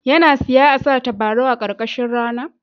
Ya nasiya a sa tabarau a karkashin rana.